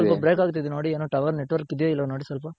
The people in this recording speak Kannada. voice ಸ್ವಲ್ಪ break ಆಗ್ತಿದೆ ನೋಡಿ ಏನೋ tower network ಇದ್ಯೋ ಇಲ್ವೋ ನೋಡಿ ಸ್ವಲ್ಪ